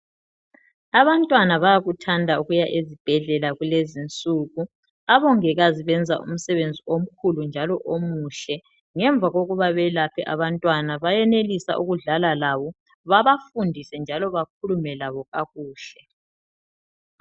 abantwana bayakuthanda ukuza ezibhedlela kulezinsuku abongikazi bayenza umsebenzi omkhulu njalo omuhle ngemuva kokuba bayelaphe abantwana bayenelisa ukudlala labo babafundise njalo bakhulume labo kakuhle